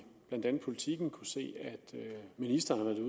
politiken kunnet se at ministeren